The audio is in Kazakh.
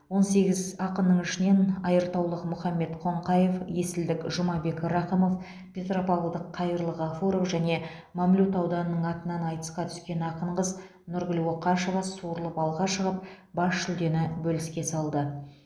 он сегіз ақынның ішінен айыртаулық мұхаммед қоңқаев есілдік жұмабек рақымов петропавлдық қайырлы ғафуров және мамлют ауданының атынан айтысқа түскен ақын қыз нұргүл оқашева суырылып алға шығып бас жүлдені бөліске салды